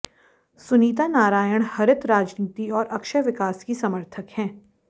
सुनीता नारायण हरित राजनीति और अक्षय विकास की समर्थक हैं